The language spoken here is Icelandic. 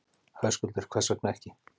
Höskuldur: Hvers vegna ekki?